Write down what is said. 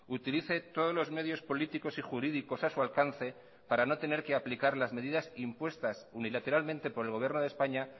utilice todos los medios políticos y jurídicos a su alcance para no tener que aplicar las medidas impuestas unilateralmente por el gobierno de españa